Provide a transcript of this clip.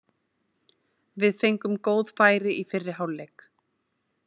Við fengum góð færi í fyrri hálfleik.